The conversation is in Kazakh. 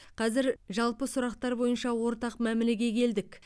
қазір жалпы сұрақтар бойынша ортақ мәмілеге келдік